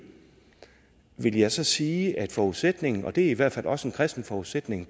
vil jeg så sige er forudsætningen og det er i hvert fald også en kristen forudsætning